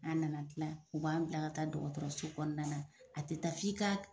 An nana tila. U b'an bila ka taa dɔgɔtɔrɔso kɔnɔna na. A tɛ taa f'i ka